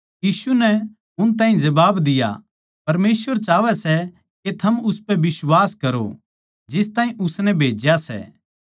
यीशु नै उन ताहीं जबाब दिया परमेसवर चाहवै सै के थम उस म्ह बिश्वास करो जिस ताहीं उसनै भेज्या सै